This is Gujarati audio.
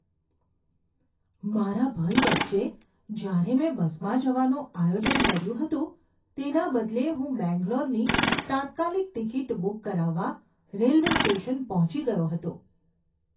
મારા ભય વચ્ચે, જ્યારે મેં બસમાં જવાનું આયોજન કર્યું હતું તેના બદલે હું બેંગ્લોરની તાત્કાલિક ટિકિટ બુક કરાવવા રેલવે સ્ટેશન પહોંચી ગયો હતો.